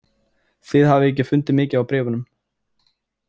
Þið hafið ekki fundið mikið á bréfunum.